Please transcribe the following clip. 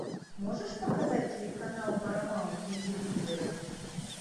можешь показать телеканал парамаунт на телевизоре